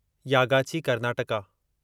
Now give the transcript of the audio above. Yagachi Karnataka